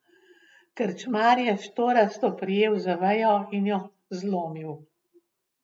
Krčmar je štorasto prijel za vejo in jo zlomil.